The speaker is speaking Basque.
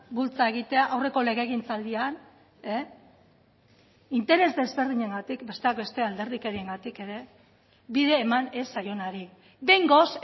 bultza egitea aurreko legegintzaldian interes desberdinengatik besteak beste alderdikeriengatik ere bide eman ez zaionari behingoz